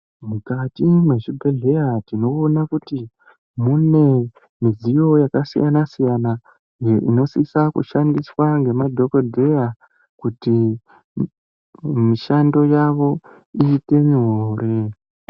Mukati mwezvibhehlera tinoona kuti mune midziyo yakasiyana-siyana iyo inosisa kushandiswa ngema dhogodheya kuti mishando yavo iite nyore.